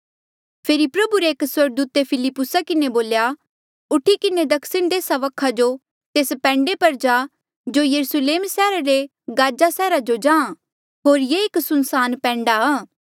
फेरी प्रभु रे एक स्वर्गदूते फिलिप्पुसा किन्हें बोल्या उठी किन्हें दक्षिण देसा वखा जो तेस पैंडे पर जा जो यरुस्लेम सैहरा ले गाजा सैहरा जो जाहाँ होर ये एक सुनसान पैंडाआ